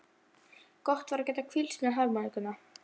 Gott var að geta hvílst með harmóníkuna.